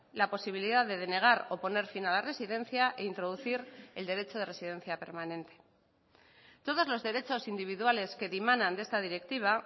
la posibilidad de denegar o poner fin a la residencia e introducir el derecho de residencia permanente todos los derechos individuales que dimanan de esta directiva